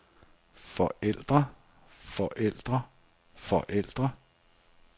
forældre forældre forældre